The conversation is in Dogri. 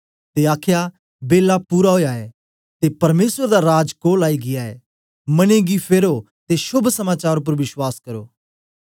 ते आखया बेल्ला पूरा ओया ऐ ते परमेसर दा राज कोल आई गीया ऐ मने गी फेरो ते शोभ समाचार उपर बश्वास करो